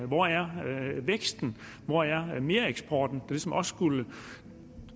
hvor er væksten hvor er mereksporten ligesom også skulle